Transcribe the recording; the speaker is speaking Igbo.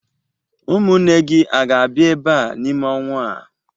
Ụmụnne gi aga-abịa ebe a n'ime ọnwa a?